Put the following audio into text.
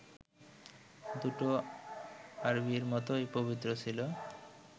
দুটো আরবীর মতোই পবিত্র ছিল